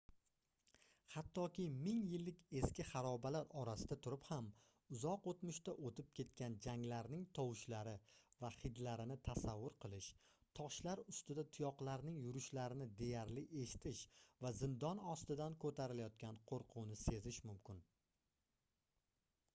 hattoki ming yillik eski harobalar orasida turib ham uzoq oʻtmishda oʻʼtib ketgan janglarning tovushlari va hidlarini tasavvur qilish toshlar ustida tuyoqlarning yurishlarini deyarli eshitish va zindon ostidan koʻtarilayotgan qoʻrquvni sezish mumkin